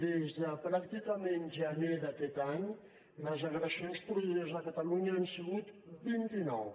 des de pràcticament gener d’aquest any les agressions produïdes a catalunya han sigut vint i nou